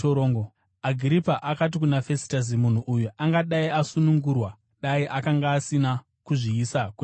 Agiripa akati kuna Fesitasi, “Munhu uyu angadai asunungurwa dai akanga asina kuzviisa kuna Kesari.”